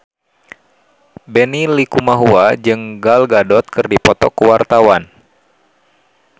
Benny Likumahua jeung Gal Gadot keur dipoto ku wartawan